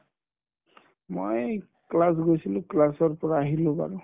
মই class গৈছিলো class ৰ পৰা আহিলো বাৰু